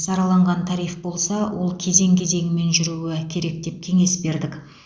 сараланған тариф болса ол кезең кезеңімен жүруі керек деп кеңес бердік